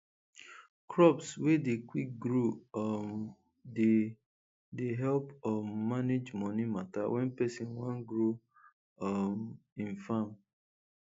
crops wey dey quick grow um dey dey help um manage money matter when person wan grow um im farm